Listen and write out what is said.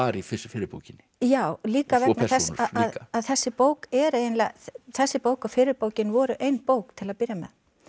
í fyrri fyrri bókinni já líka vegna þess að þessi bók er eiginlega þessi bók og fyrri bókin voru ein bók til að byrja með